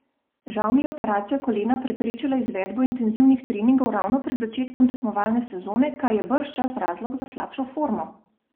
Žal mi je operacija kolena preprečila izvedbo intenzivnih treningov ravno pred začetkom tekmovalne sezone, kar je bržčas razlog za slabšo formo.